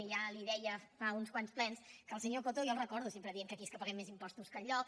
i ja els deia fa uns quants plens que el senyor coto jo el recordo sempre dient que aquí paguem més impostos que enlloc